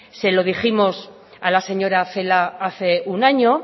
se lo dijimos a la señora celaá hace un año